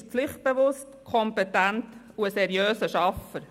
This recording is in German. Iseli ist pflichtbewusst, kompetent und ein seriöser Schaffer.